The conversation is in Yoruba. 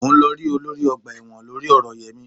Mò ń lọ rí olórí ọgbà ẹ̀wọ̀n lórí ọ̀rọ̀ Yẹmí